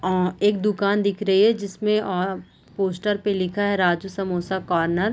आ एक दुकान दिख रही है जिसमें आ पोस्टर पे लिखा है राजू समोसा कॉर्नर ।